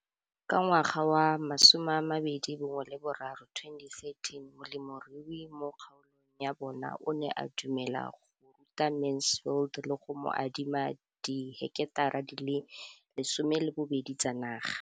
Ka ngwaga wa 2013, molemirui mo kgaolong ya bona o ne a dumela go ruta Mansfield le go mo adima di heketara di le 12 tsa naga.